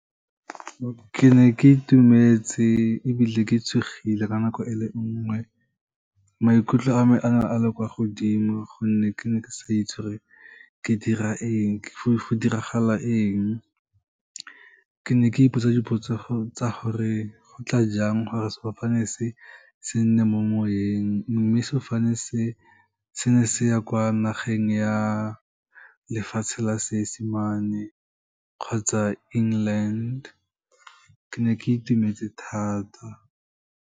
Ke ne ke itumetse ebile ke tshogile ka nako e le nngwe, maikutlo a me a ne a le kwa godimo, gonne ke ne ke sa itse gore ke dira eng, go diragala eng. Ke ne ke ipotsa dipotso tsa gore go tla jang gore sefofane se, se nne mo moweng, mme sefofane se, se ne se ya kwa nageng ya lefatshe la Seesemane kgotsa England, ke ne ke itumetse thata.